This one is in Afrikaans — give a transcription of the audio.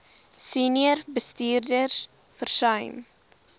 senior bestuurders versuim